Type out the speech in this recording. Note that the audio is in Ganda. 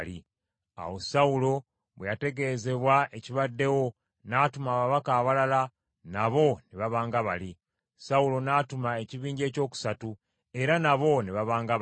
Awo Sawulo bwe yategeezebwa ekibaddewo, n’atuma ababaka abalala nabo ne baba nga bali. Sawulo n’atuma ekibinja ekyokusatu, era nabo ne baba nga bali.